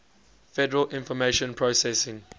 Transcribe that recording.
federal information processing